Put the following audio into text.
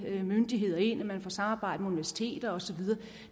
myndigheder ind og samarbejder med universiteter osv